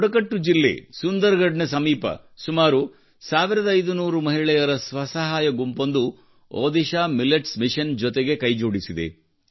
ಬುಡಕಟ್ಟು ಜಿಲ್ಲೆ ಸುಂದರ್ಗಢ್ನ ಸಮೀಪ ಸುಮಾರು 1500 ಮಹಿಳೆಯರ ಸ್ವಸಹಾಯ ಗುಂಪೊಂದು ಒಡಿಶಾ ಮಿಲೆಟ್ಸ್ ಮಿಷನ್ ಜೊತೆಗೆ ಕೈಜೋಡಿಸಿದೆ